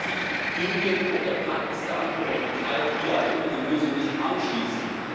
sie müssen sich Indien oder Pakistan oder geteilt, wie auch immer die Lösung ist, anschließen.